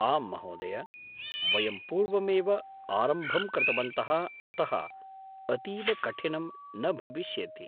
-आम्, महोदय! वयं पूर्वमेव आरम्भं कृतवन्तः अतः अतीव कठिनं न भविष्यति।